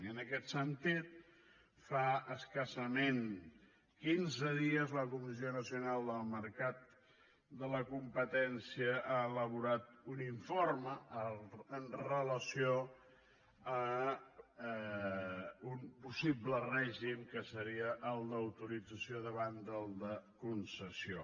i en aquest sentit fa escassament quinze dies la comissió nacional dels mercats i la competència ha elaborat un informe amb relació a un possible règim que seria el d’autorització davant del de concessió